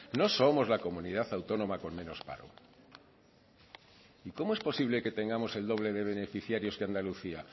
no somos la comunidad autónoma con menos paro y cómo es posible que tengamos el doble de beneficiarios que andalucía